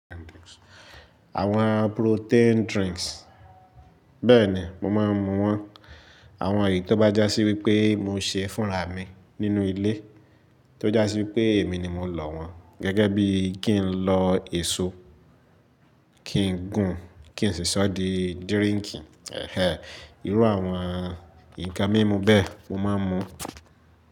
Àwọn protein drinks. Bẹ́ẹ̀ ni, mo máa ń mu wọ́n. Àwọn èyí tó bá já sí wípé mo ṣe fúnra mi nínú ilé. Tó já sí wípé èmi ni mo lò wọ́n. Gẹ́gẹ́ bí kí n lọ èso, kí n gún, kí n sì ṣọ́ di drinki. Ẹ̀hẹ́, irú àwọn nǹkan mímú bẹ́ẹ̀ mo máa ń mu.